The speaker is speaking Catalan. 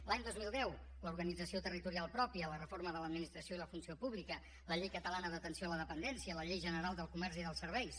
l’any dos mil deu l’organització territorial pròpia la reforma de l’administració i la funció pública la llei catalana d’atenció a la dependència la llei general del comerç i dels serveis